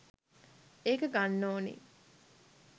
එක ගන්න ඕනි.